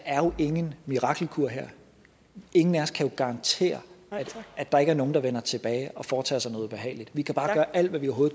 ingen mirakelkur er her ingen af os kan jo garantere at der ikke er nogen der vender tilbage og foretager sig noget ubehageligt vi kan bare gøre alt hvad vi